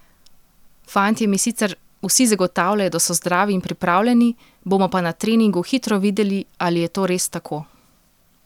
Fantje mi sicer vsi zagotavljajo, da so zdravi in pripravljeni, bomo pa na treningu hitro videli, ali je to res tako.